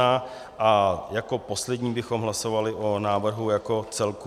A jako poslední bychom hlasovali o návrhu jako celku.